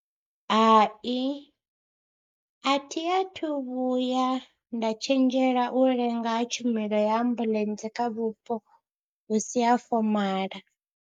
Hai athi athu vhuya nda tshenzhela u lenga ha tshumelo ya ambuḽentse kha vhupo hu si ha fomaḽa.